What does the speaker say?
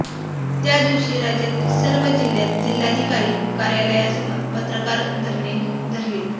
त्या दिवशी राज्यातील सर्व जिल्हयात जिल्हाधिकारी कार्यालयासमोर पत्रकार धरणे धरतील